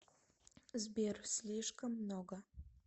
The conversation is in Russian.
сбер слишком много